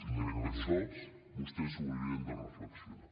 i crec que això vostès ho haurien de reflexionar